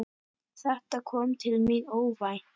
Þetta kom til mín óvænt.